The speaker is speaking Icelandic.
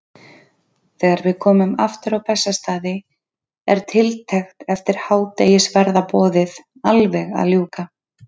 Þegar við komum aftur á Bessastaði er tiltekt eftir hádegisverðarboðið alveg að ljúka.